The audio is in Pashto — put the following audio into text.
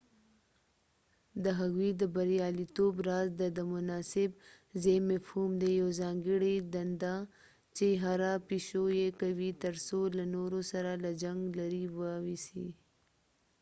د هغوی د بریالیتوب راز د د مناسب ځای مفهوم دی یو ځانګړي دنده چې هره پیشو یې کوي تر څو له نورو سره له جنګ لرې واوسي